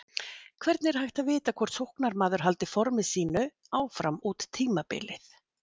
Hvernig er hægt að vita hvort sóknarmaður haldi forminu sínu áfram út tímabilið?